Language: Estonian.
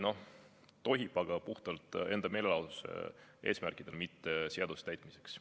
No tohib, aga puhtalt enda meelelahutuse eesmärkidel, mitte seaduse täitmiseks.